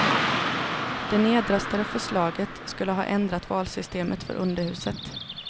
Det nedröstade förslaget skulle ha ändrat valsystemet för underhuset.